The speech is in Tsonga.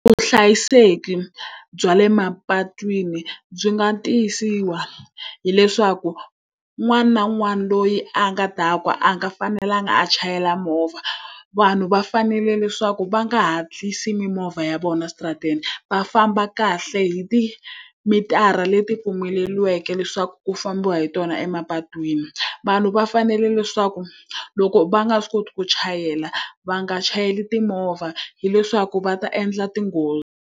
Vuhlayiseki bya le mapatwini byi nga tiyisisiwa hi leswaku, un'wana na un'wana loyi a nga dakwa a nga fanelanga a chayela. Movha vanhu va fanele leswaku va nga hatlisi mimovha ya vona switarateni va famba kahle hi ti mitara leti pfumeleriweke, leswaku ku fambiwa hi tona emapatwini. Vanhu va fanele leswaku loko va nga swi koti ku chayela va nga chayeli timovha hileswaku va ta endla tinghozi.